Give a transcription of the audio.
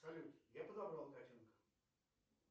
салют я подобрал котенка